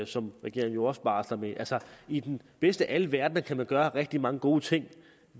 som regeringen jo også barsler med altså i den bedste af alle verdener kan man gøre rigtig mange gode ting